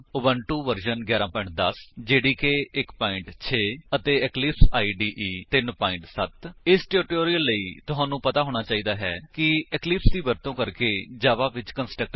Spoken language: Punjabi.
Ubuntu version 11 10 Java development environment JDK 1 6 ਅਤੇ ਇਕਲਿਪਸ ਇਦੇ 3 7 0 ਇਸ ਟਿਊਟੋਰਿਅਲ ਲਈ ਤੁਹਾਨੂੰ ਪਤਾ ਹੋਣਾ ਚਾਹੀਦਾ ਹੈ ਕਿ ਇਕਲਿਪਸ ਦੀ ਵਰਤੋ ਕਰਕੇ ਜਾਵਾ ਵਿੱਚ ਕੰਸਟਰਕਟਰ ਕਿਵੇਂ ਬਨਾਈਏ